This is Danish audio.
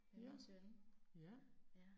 Ja, ja